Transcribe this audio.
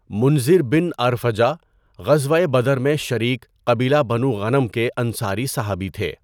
مُنذِر بن عرفجہ غزوۂ بدر میں شریک قبیلہ بنو غَنَم کے انصاری صحابی تھے۔